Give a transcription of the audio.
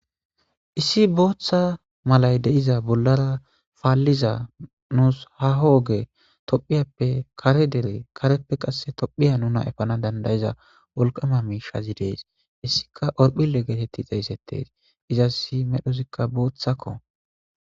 Issi booththa malay de'iza bollara paaliza nus haaho oge tophphiyappe kare dere kareppe qasse tophphiya nuna epana danda'iza wolqama miishazi de'es; hessikka horphile geeteti xeeysetees; izassi medhozika booththako.